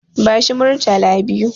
Bashi Murtala biyu.